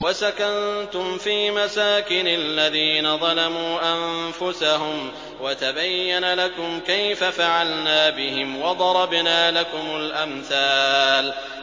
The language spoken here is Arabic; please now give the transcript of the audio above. وَسَكَنتُمْ فِي مَسَاكِنِ الَّذِينَ ظَلَمُوا أَنفُسَهُمْ وَتَبَيَّنَ لَكُمْ كَيْفَ فَعَلْنَا بِهِمْ وَضَرَبْنَا لَكُمُ الْأَمْثَالَ